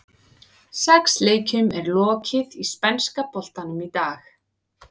Sex leikjum er lokið í spænska boltanum í dag.